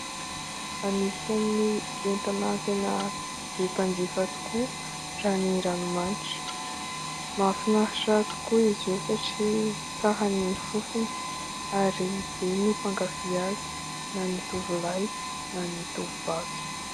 Anisan'ny entana tena be mpanjifa tokoa raha ny ranomanitra. Mahafinaritra tokoa izy io satria tsara ny fofony ary be ny mpankafỳ azy na ny tovolahy na ny tovovavy.